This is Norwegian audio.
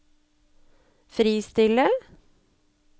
fristille